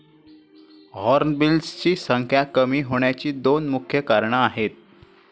हॉर्नबिल्सची संख्या कमी होण्याची दोन मुख्य कारणं आहेत.